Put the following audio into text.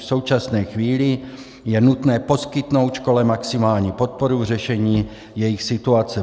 V současné chvíli je nutné poskytnout škole maximální podporu v řešení jejich situace.